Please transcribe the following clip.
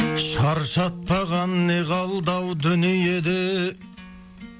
шаршатпаған не қалды ау дүниеде